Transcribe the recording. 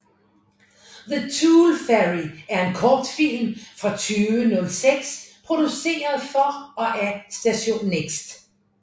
The Tooth Fairy er en kortfilm fra 2006 produceret for og af Station Next